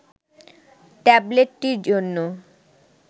ট্যাবলেটটির জন্য